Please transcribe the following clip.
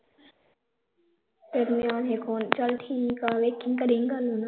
ਫਿਰ ਨਿਆਣੇ ਕੌਣ ਚੱਲ ਠੀਕ ਆ ਵੇਖੀ ਕਰੀ ਗੱਲ ਉਹਨਾਂ ਨਾਲ